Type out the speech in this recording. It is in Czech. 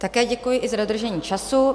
Také děkuji i za dodržení času.